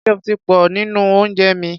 Ketchup ti pọ̀ jù nínú oúnjẹ mi.